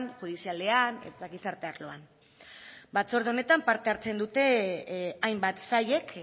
judizialean eta gizarte arloan batzorde honetan parte hartzen dute hainbat sailek